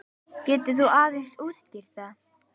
Getur þú aðeins útskýrt það?